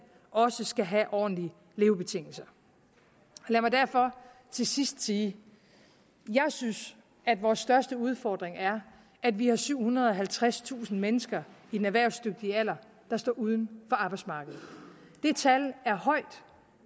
også skal have ordentlige levebetingelser lad mig derfor til sidst sige jeg synes at vores største udfordring er at vi har syvhundrede og halvtredstusind mennesker i den erhvervsdygtige alder der står uden for arbejdsmarkedet det tal er højt